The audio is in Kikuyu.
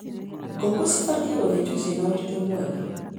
Ngũkũ cibatie gũthĩnjwo cina ũritũ mwega.